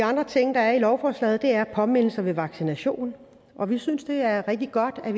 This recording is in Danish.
andre ting der er i lovforslaget er påmindelser ved vaccination vi synes det er rigtig godt at